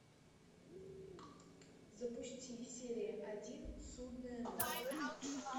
запусти серия один судная ночь